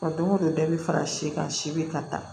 Wa don go don dɔ bɛ fara si kan si be ka taa